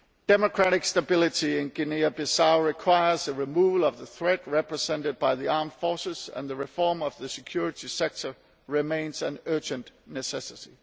Democratic stability in Guinea Bissau requires the removal of the threat represented by the armed forces, and the reform of the security sector remains an urgent necessity.